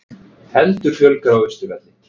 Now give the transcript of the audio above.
Heldur fjölgar á Austurvelli